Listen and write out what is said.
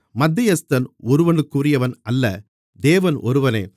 மத்தியஸ்தன் ஒருவனுக்குரியவன் அல்ல தேவன் ஒருவரே